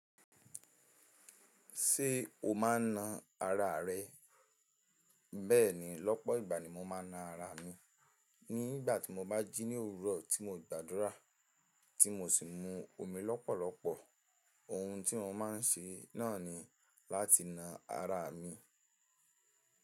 Ṣé o máa ń na ara rẹ? Bẹ́ẹ̀ni, lọ́pọ̀ ìgbà ni mo máa ń na ara mi. Ní ìgbà tí mo bá jí ní òwúrọ̀ tí mo gbàdúrà, tí mo sì mu omi lọ́pọ̀lọpọ̀. Ohun tí mo máa ń ṣe náà ni láti na ara mi.